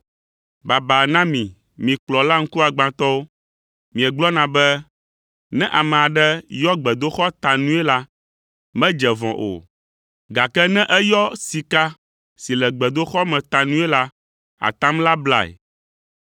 “Baba na mi, mi kplɔla ŋkuagbãtɔwo! Miegblɔna be, ‘Ne ame aɖe yɔ gbedoxɔ ta nui la, medze vɔ̃ o, gake ne eyɔ sika si le gbedoxɔ me ta nui la, atam la blae’